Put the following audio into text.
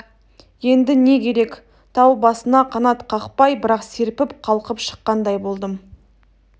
енді не керек тау басына қанат қақпай бірақ серпіп қалқып шыққандай болдым